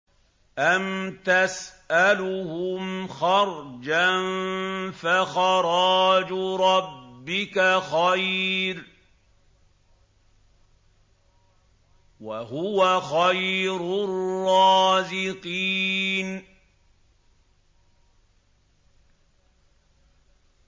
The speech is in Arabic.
أَمْ تَسْأَلُهُمْ خَرْجًا فَخَرَاجُ رَبِّكَ خَيْرٌ ۖ وَهُوَ خَيْرُ الرَّازِقِينَ